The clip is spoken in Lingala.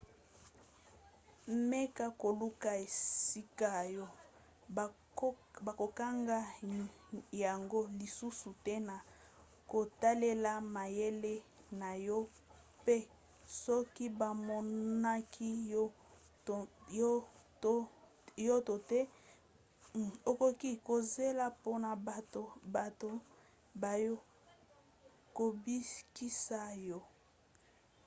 meka koluka esika oyo bakokanga yango lisusu te na kotalela mayele na yo pe soki bamonaki yo to te okoki kozela mpona bato baya kobikisa yo